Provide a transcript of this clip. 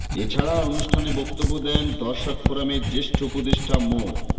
এ ছাড়া অনুষ্ঠানে বক্তব্য দেন দর্শক ফোরামের জ্যেষ্ঠ উপদেষ্টা মো